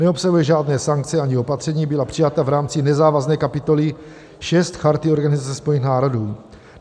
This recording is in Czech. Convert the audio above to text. Neobsahuje žádné sankce ani opatření, byla přijata v rámci nezávazné kapitoly VI Charty Organizace spojených národů.